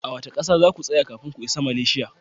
A wace kasa za ku tsaya kafin ku isa Malaysia?